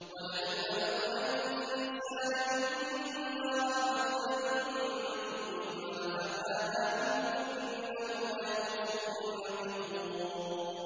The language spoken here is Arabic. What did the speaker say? وَلَئِنْ أَذَقْنَا الْإِنسَانَ مِنَّا رَحْمَةً ثُمَّ نَزَعْنَاهَا مِنْهُ إِنَّهُ لَيَئُوسٌ كَفُورٌ